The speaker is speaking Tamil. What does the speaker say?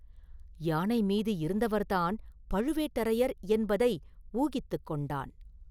யானை மீது இருந்தவர் தான் பழுவேட்டரையர் என்பதை ஊகித்துக் கொண்டான்.